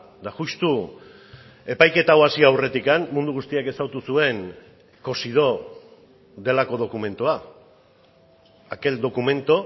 eta justu epaiketa hau hasi aurretik mundu guztiak ezagutu zuen cosidó delako dokumentua aquel documento